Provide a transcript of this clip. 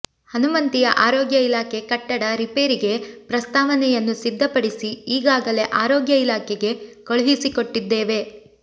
ಹನುಮಂತಿಯ ಆರೋಗ್ಯ ಇಲಾಖೆ ಕಟ್ಟಡ ರಿಪೇರಿಗೆ ಪ್ರಸ್ತಾವನೆಯನ್ನು ಸಿದ್ಧಪಡಿಸಿ ಈಗಾಗಲೇ ಆರೋಗ್ಯ ಇಲಾಖೆಗೆ ಕಳಿಸಿಕೊಟ್ಟಿದ್ದೇವೆ